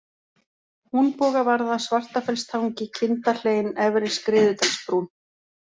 Húnbogavarða, Svartafellstangi, Kindahlein, Efri-Skriðudalsbrún